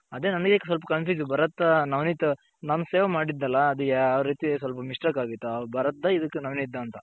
ಅದೇ ನನಗೆ ಸ್ವಲ್ಪ ಭರತ್ ನವನಿತ್ ನಾನು save ಮಾಡಿದ್ನಲ್ಲ ಇದು ಯಾವ್ ರೀತಿ ಸ್ವಲ್ಪ mistake ಅಗಿತೂ ಭರತ್ ದಾ ಇದು ನವನಿತ್ ದಾ ಅಂತ .